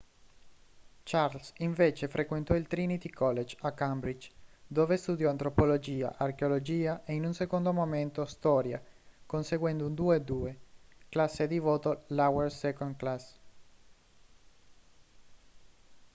charles invece frequentò il trinity college a cambridge dove studiò antropologia archeologia e in un secondo momento storia conseguendo un 2:2 classe di voto lower second class"